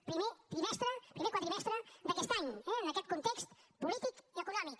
primer quadrimestre d’aquest any eh en aquest context polític i econòmic